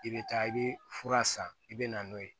I bɛ taa i bɛ fura san i bɛ na n'o ye